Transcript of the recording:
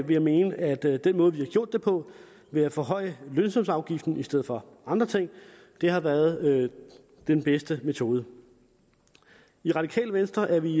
jeg mene at den måde vi har gjort det på ved at forhøje lønsumsafgiften i stedet for andre ting har været den bedste metode i radikale venstre er vi